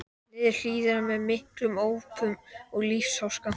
niður hlíðina með miklum ópum og lífsháska.